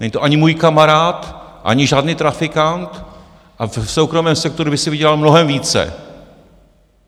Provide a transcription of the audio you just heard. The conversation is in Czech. Není to ani můj kamarád, ani žádný trafikant a v soukromém sektoru by si vydělal mnohem více.